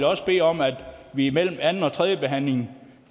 også bede om at vi imellem anden og tredjebehandlingen